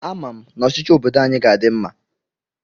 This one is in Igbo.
Ama m na ọchịchị obodo anyị ga-adị mma.